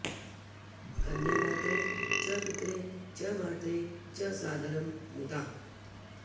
कन्यादात्रे च पित्रे च मात्रे च सादरं मुदा